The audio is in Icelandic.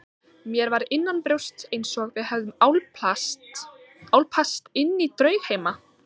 Mér var innanbrjósts einsog við hefðum álpast inní draugheima.